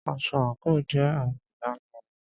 Aṣọ àńkò jẹ àmì ìdánimọ̀.